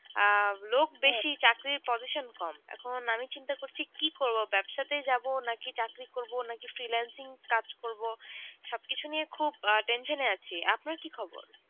আহ লোক বেশি চাকরির position কম এখন আমি চিন্তা করছি কি করব ব্যবসাতে যাব নাকি চাকরি করব নাকি ফ্রিল্যান্সিং কাজ করব সবকিছু নিয়ে খুব আহ tension এ আছি। আপনার কি খবর?